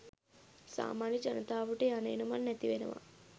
සාමාන්‍ය ජනතාවට යන එන මං නැති වෙනවා